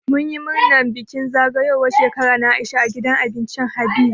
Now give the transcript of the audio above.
Mun yi bikin murnar zagayowar Shekara na Aisha a gidan abincin Habees.